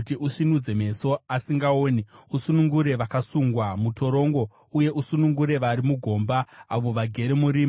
kuti usvinudze meso asingaoni, usunungure vakasungwa mutorongo uye usunungure vari mugomba, avo vagere murima.